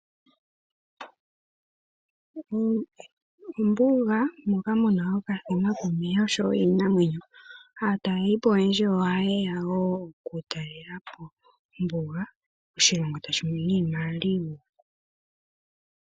Ombuga moka mu na okathima komeya osho wo iinamwenyo. Aataleli po oyendji ohaye ya wo okutalela po ombuga, oshilongo tashi mono iimaliwa.